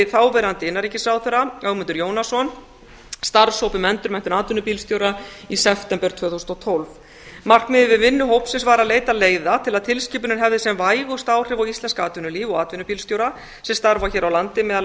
þáverandi innanríkisráðherra ögmundur jónasson starfshóp um endurmenntun atvinnubílstjóra í september tvö þúsund og tólf markmiðið við vinnu hópsins var að leita leiða til að tilskipunin hefði sem vægust áhrif á íslenskt atvinnulíf og atvinnubílstjóra sem starfa hér á landi meðal